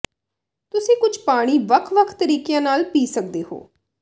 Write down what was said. ਤੁਸੀਂ ਕੁਝ ਪਾਣੀ ਵੱਖ ਵੱਖ ਤਰੀਕਿਆਂ ਨਾਲ ਪੀ ਸਕਦੇ ਹੋ